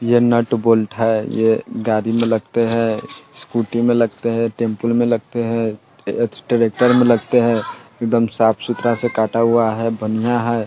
यह nut bolt है ये गाड़ी में लगते हैं स्कूटी में लगते हैं टेम्पो में लगते हैं एस्टेटर में लगते हैं एकदम साफ़ सुथरा सा काटा हुआ है बढ़िया है।